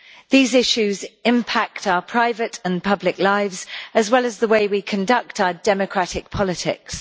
These issues impact our private and public lives, as well as the way we conduct our democratic politics.